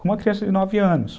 Com uma criança de nove anos.